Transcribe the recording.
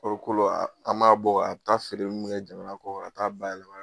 Kɔrikolo a an b'a bɔ a taa feereli mun kɛ jamana kɔkan ka taa'a bayɛlɛma